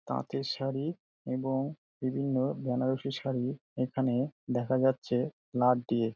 তাতের শাড়ি এবং বিভিন্ন বেনারসি শাড়ি এখানে দেখা যাচ্ছে লাট দিয়ে।